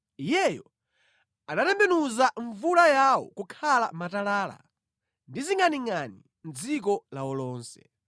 Iyeyo anatembenuza mvula yawo kukhala matalala, ndi zingʼaningʼani mʼdziko lawo lonse;